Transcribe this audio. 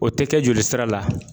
O te kɛ joli sira la